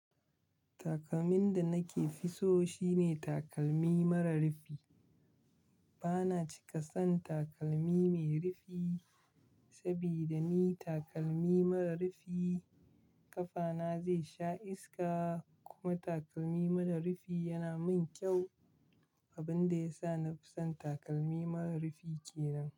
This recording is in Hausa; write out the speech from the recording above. Takalmin da nake fi so shine takalmi mara rufi. Bana cika son takalmi mai rufi saboda ni takalmi mara rufi ƙafana zai sha iska kuma takalmi mara rufi yana min kyau. Abin da yasa na fi son takalmi mara rufi kenan.